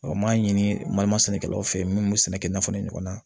n m'a ɲini sɛnɛkɛlaw fe yen min be sɛnɛkɛ nafolo ɲɔgɔn na ye